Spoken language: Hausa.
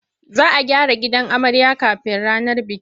Za a gyara gidan amarya kafin ranar bikin.